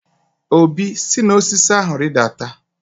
Obi, si n'osisi ahu ridata ozugbo!